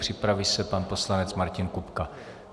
Připraví se pan poslanec Martin Kupka.